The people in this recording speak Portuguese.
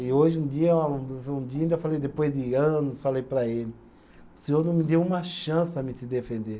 E hoje, um dia, um dia ainda falei, depois de anos, falei para ele, o senhor não me deu uma chance para mim se defender.